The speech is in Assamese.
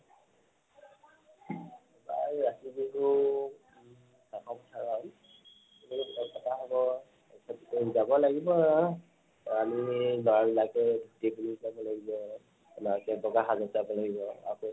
প্ৰায় কাতি বিহু এখন হয় যাব লাগিব আৰু আলহী বগা সাজত যাব লাগিব